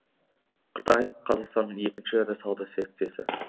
қытай қазақстанның екінші ірі сауда серіктесі